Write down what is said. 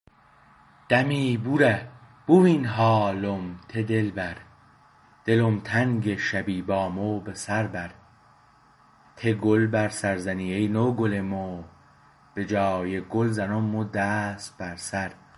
دمی بوره بوین حالم ته دلبر دلم تنگه شبی با مو به سر بر ته گل بر سر زنی ای نوگل مو به جای گل زنم مو دست بر سر